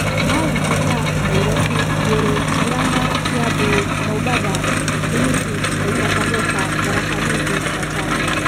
kauntĩ ta Nairobi, Nyeri, Muranga, Kiambu, Mombasa, Kilifi, Taita Taveta, Tharaka Nithi, Machakos